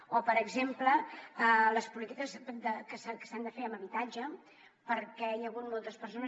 o per exemple les polítiques que s’han de fer en habitatge perquè hi ha hagut moltes persones